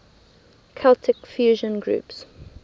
celtic fusion groups